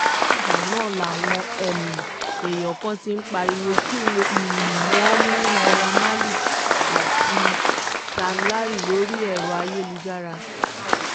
látìgbà náà làwọn um èèyàn kan ti pariwo kí um wọ́n mú naira marley ati sam larry lórí ẹ̀rọ ayélujára